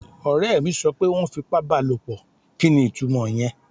Ọ̀rẹ́ mi sọ pé wọ́n fipá bá a lòpọ̀. Kí ni itúmọ̀ ìyẹn?